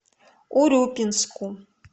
урюпинску